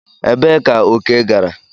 Ebee ka oke gara?